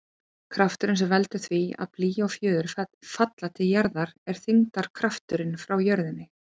Krafturinn sem veldur því að blý og fjöður falla til jarðar er þyngdarkrafturinn frá jörðinni.